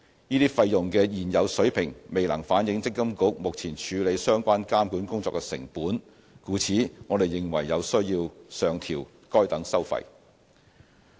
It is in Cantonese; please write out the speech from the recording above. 這些費用的現有水平未能反映積金局目前處理相關監管工作的成本，故此，我們認為有需要上調該等收費。